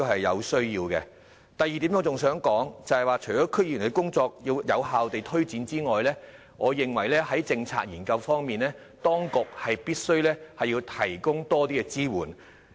我想說的第二點是，除了要有效推展區議員的工作外，我認為在政策研究方面，當局必須提供更多支援。